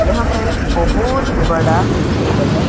यहां पर एक बहोत बड़ा टेबल है।